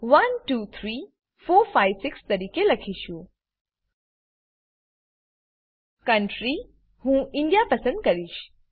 pinઝિપ 123456 તરીકે લખીશું કન્ટ્રી હું ઇન્ડિયા પસંદ કરીશ